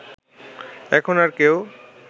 এখন আর কেউ